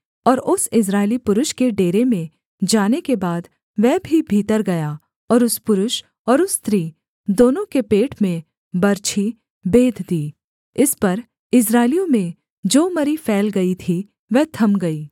और उस इस्राएली पुरुष के डेरे में जाने के बाद वह भी भीतर गया और उस पुरुष और उस स्त्री दोनों के पेट में बरछी बेध दी इस पर इस्राएलियों में जो मरी फैल गई थी वह थम गई